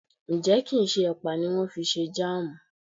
Ǹjẹ́ kì ń ṣe ẹ̀pà ni wón fi ṣe Jáàmù?